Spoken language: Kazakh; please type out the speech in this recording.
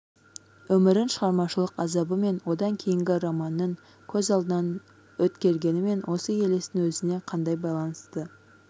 өмірін шығармашылық азабы мен одан кейінгі романының көз алдынан өткергенімен осы елестің өзіне қандай байланысы